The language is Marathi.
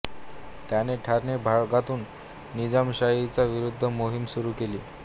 त्याने ठाणे भागातून निजामशाहीच्या विरुद्ध मोहीम सुरू केली